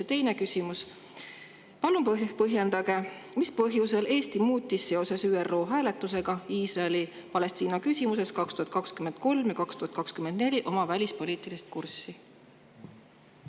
Ja teine küsimus: palun põhjendage, mis põhjusel Eesti muutis ÜRO-s Iisraeli-Palestiina küsimuses hääletades 2023. ja 2024. aastal oma välispoliitilist kurssi.